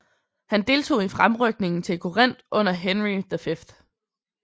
Han deltog i fremrykningen til Corinth under Henry W